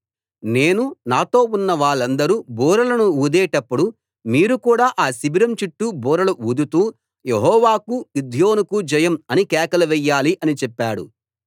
నేను నాతో ఉన్నవాళ్ళందరు బూరలను ఊదేటప్పుడు మీరు కూడా ఆ శిబిరం చుట్టూ బూరలు ఊదుతూ యెహోవాకు గిద్యోనుకు జయం అని కేకలు వెయ్యాలి అని చెప్పాడు